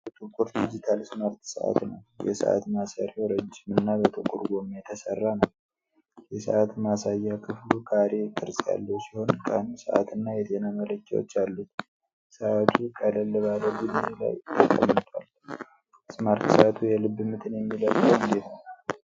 ሙሉ ጥቁር ዲጂታል ስማርት ሰዓት ነው። የሰዓት ማሰሪያው ረጅም እና በጥቁር ጎማ የተሠራ ነው። የሰዓት ማሳያ ክፍሉ ካሬ ቅርጽ ያለው ሲሆን ቀን፣ ሰዓት እና የጤና መለኪያዎች አሉት። ሰዓቱ ቀለል ባለ ቡኒ ላይ ተቀምጧል። ስማርት ሰዓቱ የልብ ምትን የሚለካው እንዴት ነው?